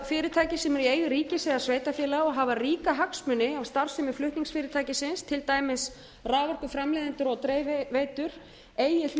fyrirtæki sem eru í eigu ríkis eða sveitarfélaga og hafa ríka hagsmuni af starfsemi flutningsfyrirtækisins til dæmis raforkuframleiðendur og dreifiveitur eigi